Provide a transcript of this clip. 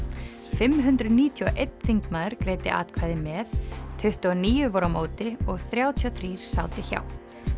fimm hundruð níutíu og einn þingmaður greiddi atkvæði með tuttugu og níu voru á móti og þrjátíu og þrír sátu hjá